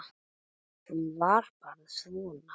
Hún var bara svona